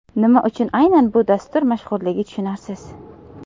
Nima uchun aynan bu dastur mashhurligi tushunarsiz.